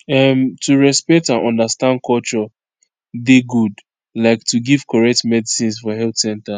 um to respect and understand culture dey good like to give correct medicines for health center